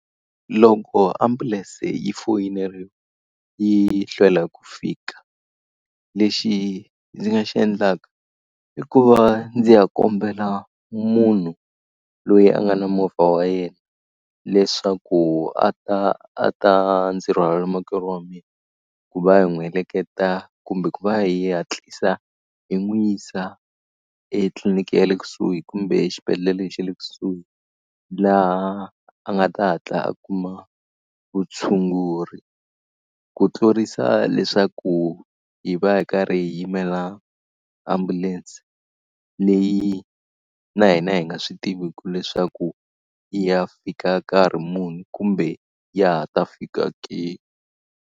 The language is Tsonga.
Loko ambulense yi foyineriwa yi hlwela ku fika, lexi ndzi nga xi endlaka i ku va ndzi ya kombela munhu loyi a nga na movha wa yena leswaku a ta a ta ndzi rhwalela makwerhu wa mina ku va hi n'wi heleketa kumbe ku va hi hatlisa hi n'wi yisa etliliniki ya le kusuhi kumbe xibedhlele xe le kusuhi, laha a nga ta hatla a kuma vutshunguri. Ku tlurisa leswaku hi va hi karhi hi yimela ambulense leyi na hina hi nga swi tiviku leswaku yi ya fika nkarhi muni kumbe ya ha ta fika ke.